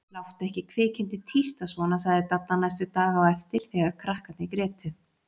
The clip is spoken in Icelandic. Láttu ekki kvikindið tísta svona sagði Dadda næstu daga á eftir þegar krakkarnir grétu.